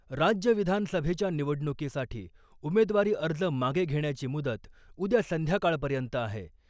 राज्य विधानसभेच्या निवडणुकीसाठी उमेदवारी अर्ज मागे घेण्याची मुदत उद्या संध्याकाळपर्यंत आहे .